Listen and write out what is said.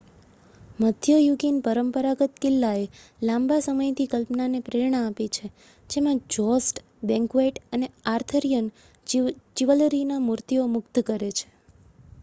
મધ્યયુગીન પરંપરાગત કિલ્લાએ લાંબા સમયથી કલ્પનાને પ્રેરણા આપી છે જેમાં જોસ્ટ બેન્ક્વેટ અને આર્થરિયન ચિવલરીની મૂર્તિઓ મુગ્ધ કરે છે